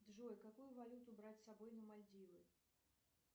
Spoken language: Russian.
джой какую валюту брать с собой на мальдивы